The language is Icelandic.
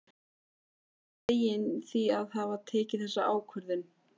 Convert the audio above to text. Mikið er hann feginn því að hafa tekið þessa ákvörðun.